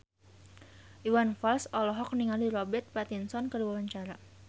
Iwan Fals olohok ningali Robert Pattinson keur diwawancara